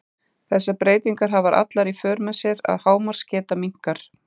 Þessar breytingar hafa allar í för með sér að hámarksgeta minnkar.